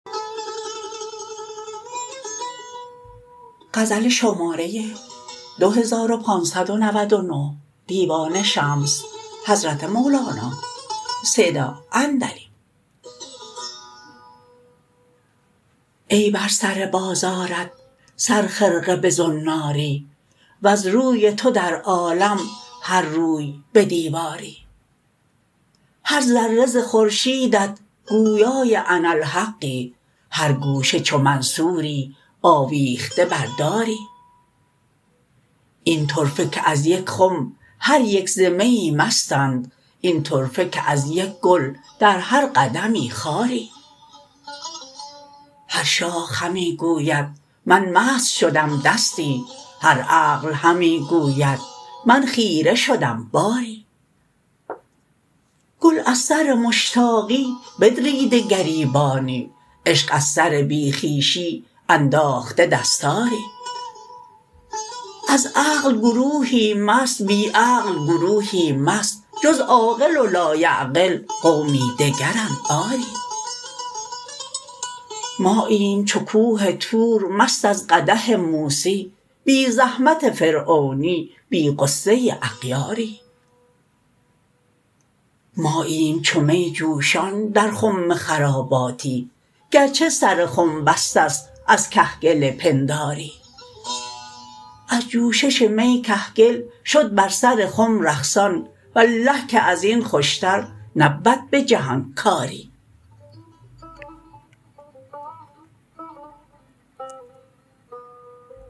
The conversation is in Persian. ای بر سر بازارت صد خرقه به زناری وز روی تو در عالم هر روی به دیواری هر ذره ز خورشیدت گویای اناالحقی هر گوشه چو منصوری آویخته بر داری این طرفه که از یک خم هر یک ز میی مستند این طرفه که از یک گل در هر قدمی خاری هر شاخ همی گوید من مست شدم دستی هر عقل همی گوید من خیره شدم باری گل از سر مشتاقی بدریده گریبانی عشق از سر بی خویشی انداخته دستاری از عقل گروهی مست بی عقل گروهی مست جز عاقل و لایعقل قومی دگرند آری ماییم چو کوه طور مست از قدح موسی بی زحمت فرعونی بی غصه اغیاری ماییم چو می جوشان در خم خراباتی گرچه سر خم بسته است از کهگل پنداری از جوشش می کهگل شد بر سر خم رقصان والله که از این خوشتر نبود به جهان کاری